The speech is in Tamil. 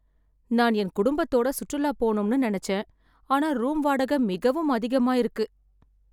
நான் என் குடும்பத்தோட சுற்றுலா போனும்னு நெனச்சேன். ஆனா ரூம் வாடக மிகவும் அதிகமா இருக்கு.